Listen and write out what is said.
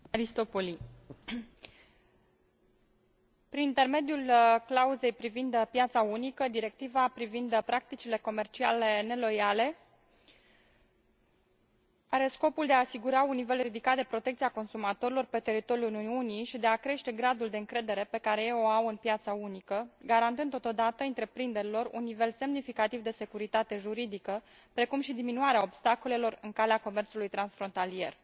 Mulțumesc. Prin intermediul clauzei privind piața unică, Directiva privind practicile comerciale neloiale are scopul de a asigura un nivel ridicat de protecție a consumatorilor pe teritoriul Uniunii și de a crește gradul de încredere pe care ei o au în piața unică, garantând totodată întreprinderilor un nivel semnificativ de securitate juridică, precum și diminuarea obstacolelor în calea comerțului transfrontalier.